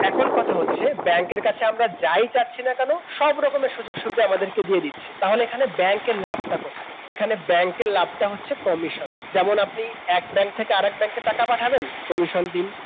এখন কথা হচ্ছে ব্যাংকের কাছে আমরা যাই চাচ্ছি না কেন সব রকমের সুযোগ সুবিধা আমাদেরকে দিয়ে দিচ্ছে তাহলে এখানে ব্যাংকের লাভটা কোথায় এখানে ব্যাংকের লাভটা হচ্ছে Commission যেমন আপনি এক ব্যাংক থেকে আরেক ব্যাংকে টাকা পাঠাবেন Commission দিন